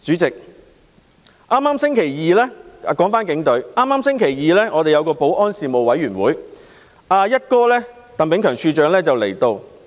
說回警隊，今個星期二舉行的保安事務委員會會議，"一哥"鄧炳強處長亦有出席。